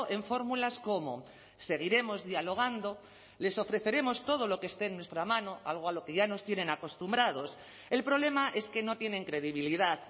en fórmulas como seguiremos dialogando les ofreceremos todo lo que esté en nuestra mano algo a lo que ya nos tienen acostumbrados el problema es que no tienen credibilidad